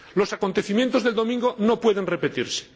Los acontecimientos del domingo no pueden repetirse.